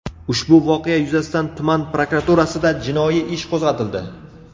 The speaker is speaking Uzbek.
Ushbu voqea yuzasidan tuman prokuraturasida jinoiy ish qo‘zg‘atildi.